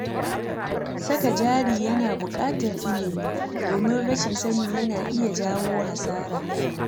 Saka jari yana buƙatar ilimi, domin rashin sani yana iya jawo hasara.